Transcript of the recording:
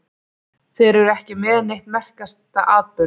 Þeir eru ekki með neitt um merkasta atburð